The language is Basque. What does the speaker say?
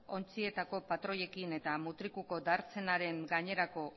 ontzietako patroiekin eta mutrikuko dartsenaren gainerako